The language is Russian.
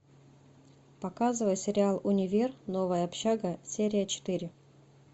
показывай сериал универ новая общага серия четыре